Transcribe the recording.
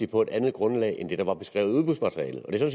på et andet grundlag end det der var beskrevet i udbudsmaterialet det